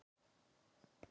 Refur skaut mann